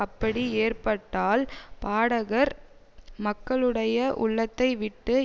அப்படி ஏற்பட்டால் பாடகர் மக்களுடைய உள்ளத்தை விட்டு